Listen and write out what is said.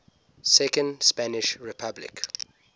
second spanish republic